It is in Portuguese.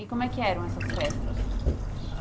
E como é que eram essas festas?